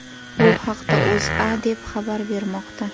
Bu haqda O‘zA deb xabar bermoqda .